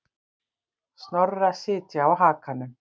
Snorra sitja á hakanum.